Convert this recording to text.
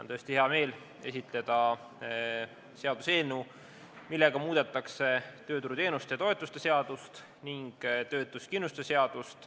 On tõesti hea meel esitleda seaduseelnõu, millega muudetakse tööturuteenuste ja -toetuste seadust ning töötuskindlustuse seadust.